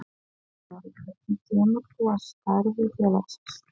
John Snorri, hvernig kemur þú að starfi félagsins?